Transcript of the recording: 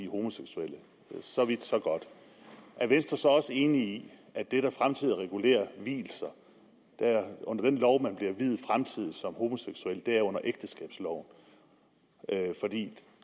homoseksuelle så vidt så godt er venstre så også enig i at det der fremtidig regulerer vielser under den lov man bliver viet fremtidig som homoseksuel er under ægteskabsloven for det